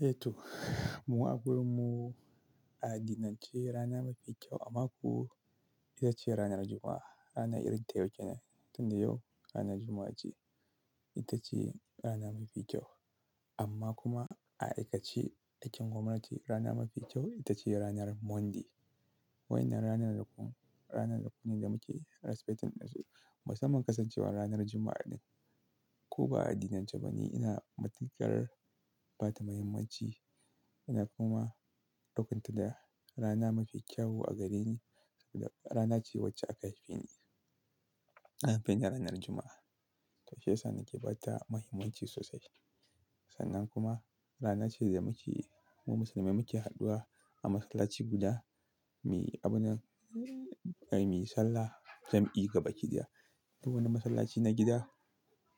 Eh to, mu a wurinmu a addinin ce rana mafi kyau a mako ita ce ranar Juma'a. Rana irin ta yau ke nan? Tinda yau ranar Juma'a ce. Ita ce rana mafi ƙyau amma kuma a aikace a cikin gwamnati rana mafi ƙyau ita ce ranar Monday. Waɗannan ranakun da muke respecting da su musamman kasancewar ranar Juma'a ɗin. Ko ba a addinin ce bane, ina matuƙar ba ta mahimmanci, ina kuma daukanta da rana mafi ƙyawu a gare ni rana ce wacce aka haife ni. An haife ni a ranar Juma'a. To shi ya sa nake ba ta mahimmanci sosai. Sannan kuma rana ce da muke mu musulmai muke hadduwa a masallaci guda, mu yi sallar jam'i gaba kiɗaya. Duk wani masallaci na gida